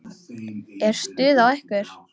Er stuð á ykkur?